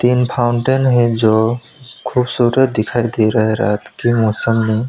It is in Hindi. तीन फाउंटेन है जो खूबसूरत दिखाई दे रहा है रात के मौसम में।